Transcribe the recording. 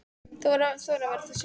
Þú verður að þora að vera þú sjálf.